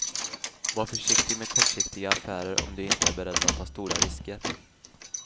Var försiktig med kortsiktiga affärer om du inte är beredd att ta stora risker.